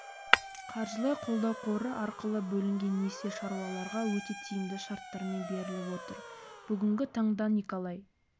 қаржылай қолдау қоры арқылы бөлінген несие шаруаларға өте тиімді шарттармен беріліп отыр бүгінгі таңда николай